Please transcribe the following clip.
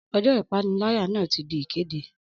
Ọjọ́ ìpànìyàn náà ti di ìkéde.